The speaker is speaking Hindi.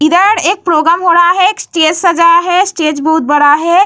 इधर एक प्रोग्राम हो रहा है | एक स्टेज सजाया है | स्टेज बहुत बड़ा है।